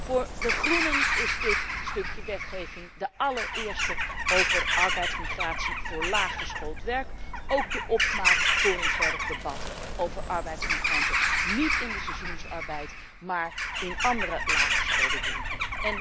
Voor de groenen is dit stukje wetgeving de allereerste over arbeidsmigratie voor laaggeschoold werk ook de opmaat voor een verder debat over arbeidsmigranten, niet in de seizoenarbeid, maar in andere laaggeschoolde beroepen.